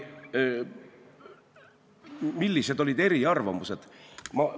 Millised olid eriarvamused?